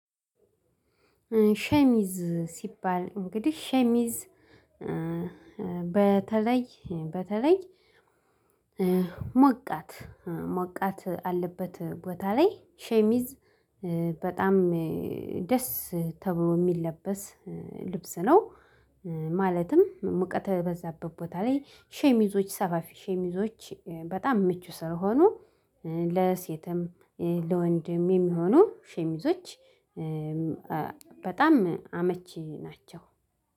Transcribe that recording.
ሸሚዝ ሲባል እንግዲህ ሸሚዝ በተለይ በተለይ ሞቃት ሞቃት አለበት ቦታ ላይ ሸሚዝ በጣም ደስ ተብሎ የሚለበስ ልብስ ነው። ማለትም ሙቀት በዛበት ቦታ ላይ ሸሚዞች ሰፋፊ ሸሚዞች በጣም ምቹ ሳይሆኑ ለሴትም ለወንድም የሚሆኑ ሸሚዞች በጣም አመቺ ናቸው